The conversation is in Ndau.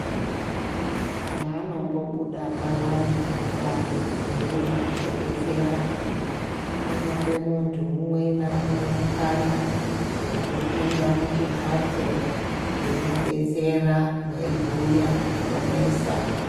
Payanombobuda payane ewutano, eyiwuya kuzodetsera, anope muntu umwe nawumwe mukana wokupinda muchimbatso eyimudetsera umwe eyibuya zvinonesa.